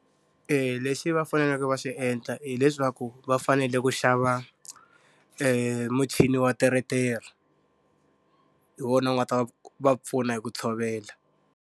lexi va faneleke va xi endla hileswaku va fanele ku xava muchini wa teretere. Hi wona u nga ta va pfuna hi ku tshovela.